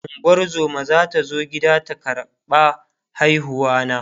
ungozuma zata zo gida ta ƙarɓa haihuwa na